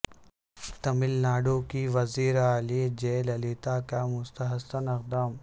تمل ناڈو کی وزیر اعلی جئے للیتا کا مستحسن اقدام